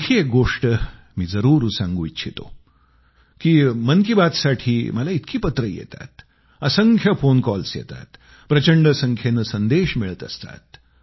आणखी एक गोष्ट मी जरूर सांगू इच्छितो की मन की बात साठी मला इतकी पत्रं येतात असंख्य फोन कॉल येतात प्रचंड संख्येनं संदेश मिळत असतात